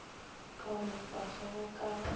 kaonafatšwa ge go ka ba